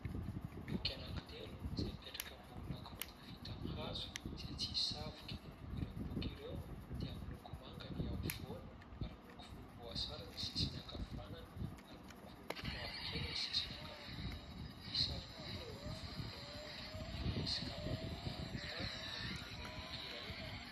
Boky anankitelo izay mipetraka eo ambonina gorodona vita amin'ny hazo izay tsy misy savoka. Ireo boky ireo, dia miloko manga ny eo ampovoany ary miloko volomboasary ny sisiny ankavanana, ary miloko mavokely ny sisiny ankavia. Misy sarin'olona eo amin'ny fonon'ilay boky ary misy kapa miloko volontany eo akaikin'ilay boky iray.